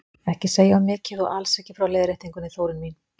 Ekki segja of mikið og alls ekki frá leiðréttingunni, Þórunn mín!